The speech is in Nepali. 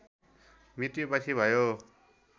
मृत्यपछि भयो